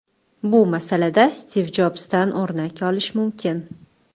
Bu masalada Stiv Jobsdan o‘rnak olish mumkin.